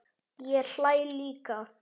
Ég hlæ líka.